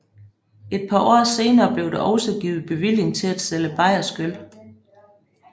Et par år senere blev der også givet bevilling til at sælge bayersk øl